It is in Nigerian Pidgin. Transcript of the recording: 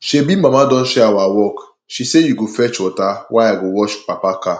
shebi mama don share our work she sey you go fetch water while i go wash papa car